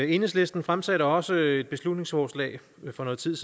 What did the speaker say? enhedslisten fremsatte også et beslutningsforslag for noget tid